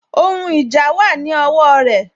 Ohun ìjà wà ní ọwọ rẹ